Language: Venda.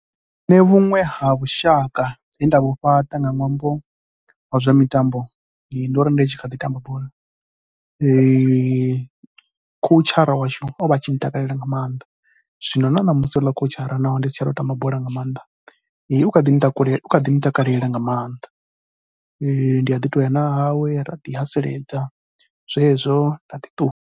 Nṋe vhuṅwe ha vhushaka he nda vhu fhaṱa nga ṅwambo nga wa zwa mitambo ndi uri ndi tshi kha ḓi tamba bola khoutshara washu o vha a tshi ntakalela nga maanḓa. Zwino na ṋamusi houḽa khoutshatsha naho ndi si tsha tou tamba bola nga maanḓa u kha ḓi ntakalela nga maanḓa, ndi a ḓi tou ya na hawe ra ḓi tou haseledza zwezwo nda ḓi ṱuwa.